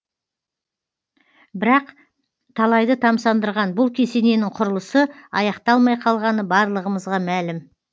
бірақ талайды тамсандырған бұл кесененің құрылысы аяқталмай қалғаны барлығымызға мәлім